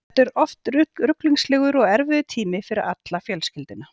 Þetta er oft ruglingslegur og erfiður tími fyrir alla fjölskylduna.